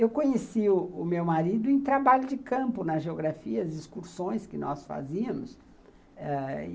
Eu conheci o o meu marido em trabalho de campo, nas geografias, excursões que nós fazíamos, ãh, e